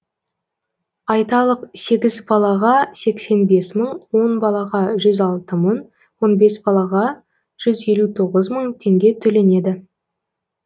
айталық сегіз балаға сексен бес мың он балаға жүз алты мың он бес балаға жүз елу тоғыз мың теңге төленеді